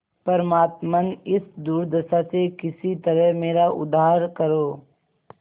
परमात्मन इस दुर्दशा से किसी तरह मेरा उद्धार करो